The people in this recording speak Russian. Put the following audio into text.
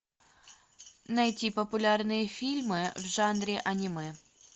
найти популярные фильмы в жанре аниме